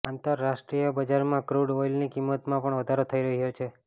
આંતરરાષ્ટ્રીય બજારમાં ક્રૂડ ઓઇલની કિંમતમાં પણ વધારો થઇ રહ્યો છે